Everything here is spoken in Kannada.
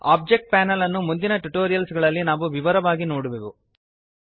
ಒಬ್ಜೆಕ್ಟ್ ಪ್ಯಾನೆಲ್ಅನ್ನು ಮುಂದಿನ ಟ್ಯುಟೋರಿಯಲ್ಸ್ ಗಳಲ್ಲಿ ನಾವು ವಿವರವಾಗಿ ನೋಡುವೆವು